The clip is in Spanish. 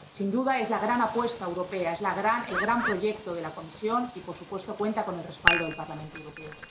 Sin duda, es la gran apuesta europea, es el gran proyecto de la Comisión y, por supuesto, cuenta con el respaldo del Parlamento Europeo.